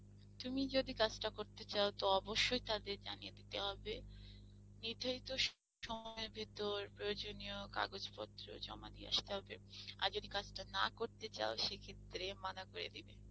তুমি যদি কাজটা করতে চাও তাহলে অবশ্যই তাদের জানিয়ে দিতে হবে নির্ধারিত সময়ের ভেতর প্রয়োজনীয় কাগজপত্র জমা দিয়ে আসতে হবে আর যদি কাজটা না করতে চাও সে ক্ষেত্রে মানা করে দিবে